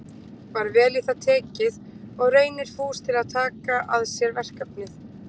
Var vel í það tekið og Reynir fús til að taka að sér verkefnið.